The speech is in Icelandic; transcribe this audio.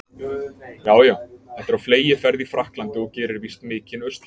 Já, já, þetta er á fleygiferð í Frakklandi og gerir víst mikinn usla.